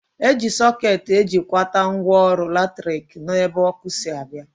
Eji sọket ejikwata ngwaọrụ latrik n'ebe ọkụ si abịa